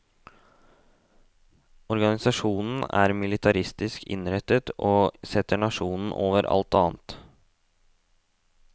Organisasjonen er militaristisk innrettet, og setter nasjonen over alt annet.